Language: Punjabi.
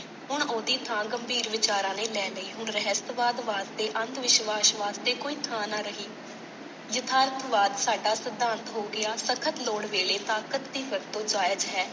ਹੁਣ ਓਹਦੀ ਥਾਂ ਗੰਭੀਰ ਵਿਚਾਰਾਂ ਨੇ ਲੈ ਲਈ। ਹੁਣ ਰਾਹਿੱਸਵਾਦ ਵਾਸਤੇ ਤੇ ਅੰਧ ਵਿਸ਼ਵਾਸ਼ ਵਾਸਤੇ ਕੋਈ ਥਾਂ ਨਾ ਰਹੀ। ਯਤਾਰ੍ਥ ਵਾਦ ਸਾਡਾ ਸਿਧਾਂਤ ਹੋ ਗਿਆ। ਸਖ਼ਤ ਲੋੜ ਵੇਲੇ ਤਾਕਤ ਦੀ ਵਰਤੋਂ ਜਾਇਜ਼ ਹੈ।